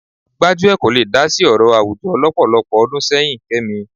Gbájúẹ̀ kò le dá sí ọ̀rọ̀ àwùjọ lọ́pọ̀lọpọ̀ ọdún sẹ́yìn Kẹ́mi